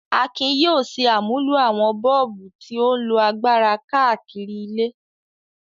Akin yóò ṣe àmúlò àwọn bọ́ọ̀bù tí ó ń lo agbára káàkiri ilé.